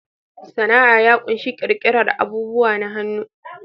Sana'a ya ƙunshi ƙirƙirar abubuwa na hannu